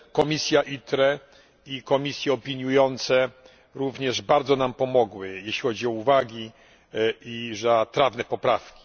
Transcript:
Komisja ITRE i komisje opiniujące również bardzo nam pomogły, jeśli chodzi o uwagi i trafne poprawki.